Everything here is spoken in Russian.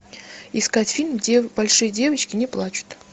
искать фильм большие девочки не плачут